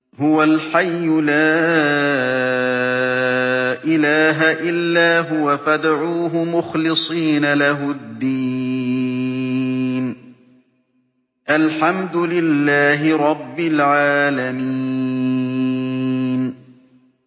هُوَ الْحَيُّ لَا إِلَٰهَ إِلَّا هُوَ فَادْعُوهُ مُخْلِصِينَ لَهُ الدِّينَ ۗ الْحَمْدُ لِلَّهِ رَبِّ الْعَالَمِينَ